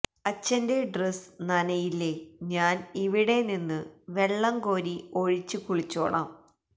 അച്ഛന്റെ ഡ്രസ്സ് നനയില്ലെ ഞാൻ ഇവിടെ നിന്ന് വെള്ളം കോരി ഒഴിച്ച് കുളിച്ചോളാം